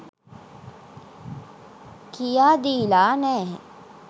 කියා දීලා නැහැ.